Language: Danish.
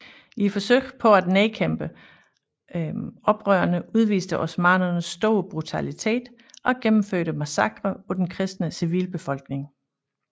I forsøget på at nedkæmpe oprørerne udviste osmannerne stor brutalitet og gennemførte massakrer på den kristne civilbefolkning